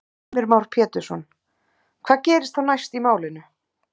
Heimir Már Pétursson: Hvað gerist þá næst í málinu?